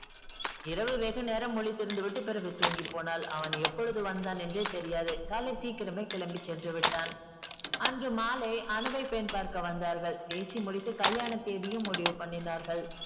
இரவு வெகு நேரம் முழித்து இருந்துவிட்டு பிறகு தூங்கி போனாள் அவன் எப்பொழுது வந்தான் என்றே தெரியாது காலை சீக்கிரமே கிளம்பி சென்றுவிட்டான் அன்று மாலை அனுவை பெண் பார்க்க வந்தார்கள் பேசி முடித்து கல்யாண தேதியும் முடிவு பண்ணினார்கள்